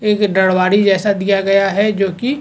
एक डढ़वारी जैसा दिया गया है जो की --